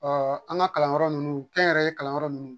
Ɔ an ka kalanyɔrɔ ninnu kɛnyɛrɛye kalanyɔrɔ ninnu